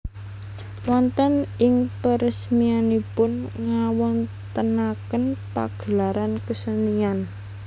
Wonten ing peresmianipun ngawontenaken pagelaran kesenian